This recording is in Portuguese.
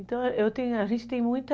Então, eu tenho, a gente tem muita...